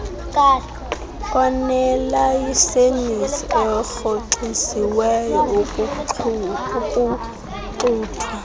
onelayisenisi orhoxisiweyo ukuxuthwa